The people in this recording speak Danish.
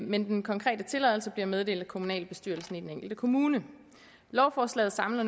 men den konkrete tilladelse bliver meddelt af kommunalbestyrelsen i den enkelte kommune lovforslaget samler